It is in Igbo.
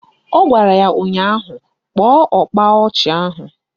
Ọ gwara ya ụnyaahụ " Kpọọ ọkpa ọchị ahụ"!